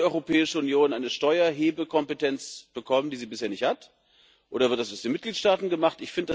Soll die Europäische Union eine Steuererhebekompetenz bekommen die sie bisher nicht hat oder wird das aus den Mitgliedstaaten gemacht?